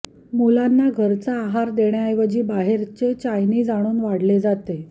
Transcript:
मुलांना घरचा आहार देण्याऐवजी बाहेरचे चायनीज आणून वाढले जाते